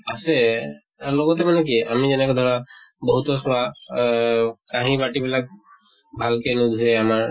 আছে তাৰ লগতে মানে কি আমি যেনেকে ধৰা বহুতৰ চোৱা আহ কাহি বাটি বিলাক ভালকে নোধুয়ে আমাৰ